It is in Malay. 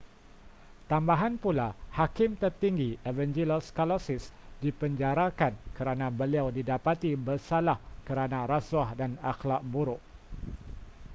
tambahan pula hakim tertinggi evangelos kalousis dipenjarakan kerana beliau didapati bersalah kerana rasuah dan akhlak buruk